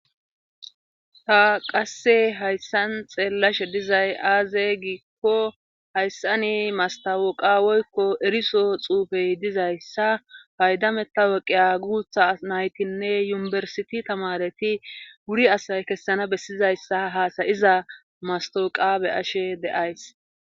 ta qasse hayssan xeellashe dizay aaze giikko hayssani mastawoqawoykko eriso xuufey dizayssa paydametta woqiya guutha naytinne yunibersiti tamareti wuri asay kessana bessizayssa haasayiza mastawoqabe ashe deays